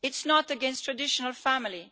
It is not against the traditional family.